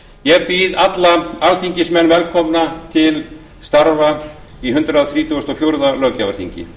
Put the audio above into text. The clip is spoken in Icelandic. ég býð alla alþingismenn velkomna til starfa á hundrað þrítugasta og fjórða löggjafarþingi